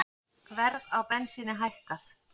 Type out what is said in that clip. Verð á bensíni hækkað